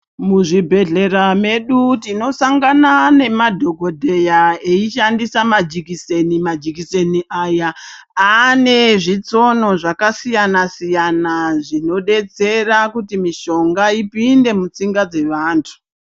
Muzvibhedhlera medu tinosangana nemadhokodhera eishandisa majikiseni majikiseni aya aane zvitsono zvakasiyana siyana zvinodetsera kuti mishonga ipinde mutsinga dzevantu.